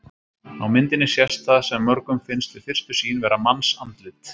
Á myndinni sést það sem mörgum finnst við fyrstu sýn vera mannsandlit.